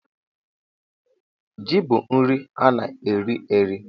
Jị bụ nri ana eri eri